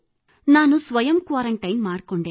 ನಾಣು ಸ್ವಯಂ ಕ್ವಾರಂಟೈನ್ ಮಾಡಿಕೊಂಡೆ